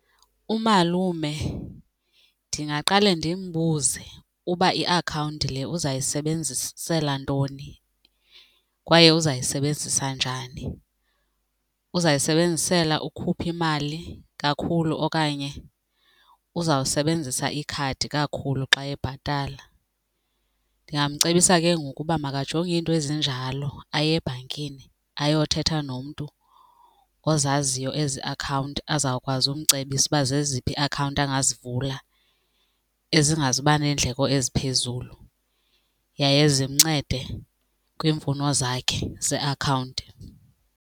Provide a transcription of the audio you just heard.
Umalume ndingaqale ndimbuze uba iakhawunti le uzayisebenzisela ntoni kwaye uzayisebenzisa njani. Uzayisebenzisela ukhupha imali kakhulu okanye uzawusebenzisa ikhadi kakhulu xa ebhatala. Ndingamcebisa ke ngoku uba makajonge iinto ezinjalo aye ebhankini ayothetha nomntu ozaziyo ezi akhawunti azawukwazi ukumcebisa ukuba zeziphi iiakhawunti angazivula ezingazuba neendleko eziphezulu yaye zimncede kwiimfuno zakhe zeakhawunti.